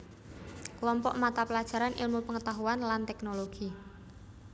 Klompok mata pelajaran ilmu pengetahuan lan teknologi